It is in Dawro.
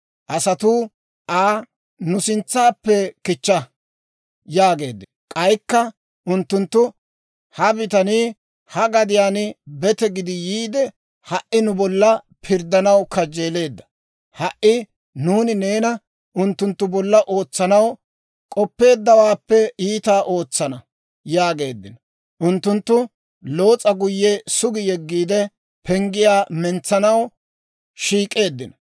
Asatuu Aa, «Nu sintsaappe kichcha!» yaageeddino; k'aykka unttunttu, «Ha bitanii ha gadiyaan bete gidi yiide, ha"i nu bolla pirddanaw kajjeeleedda! Ha"i nuuni neena unttunttu bolla ootsanaw k'oppeeddawaappe iitaa ootsana!» yaageeddino. Unttunttu Loos'a guyye sugi yeggiide penggiyaa mentsanaw shiik'eeddino.